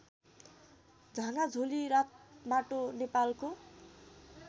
झागाझोली रातमाटो नेपालको